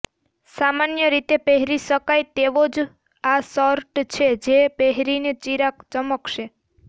સામાન્ય રીતે પહેરી શકાય તેવોજ આ શર્ટ છે જે પહેરીને ચિરાગ ચમકશે